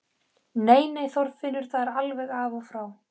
Nei, nei, Þorfinnur, það er alveg af og frá!